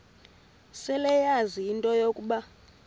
seleyazi into yokuba